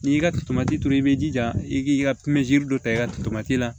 N'i y'i ka turu i b'i jija i k'i ka dɔ ta i ka tomati la